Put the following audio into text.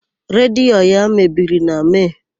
Redio ya mebiri na Mee.